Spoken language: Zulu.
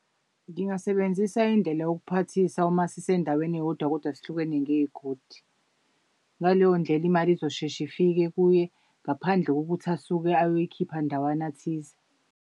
Ngingasebenzisa indlela yokuphathisa uma sisendaweni eyodwa kodwa sihlukene ngey'godi. Ngaleyo ndlela imali izosheshe ifike kuye ngaphandle kokuthi asuke ayoyikhipha ndawana thize.